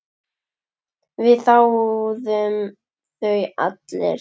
Við þáðum þau allir.